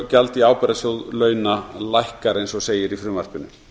gjald í ábyrgðasjóð launa lækkar eins og segir í frumvarpinu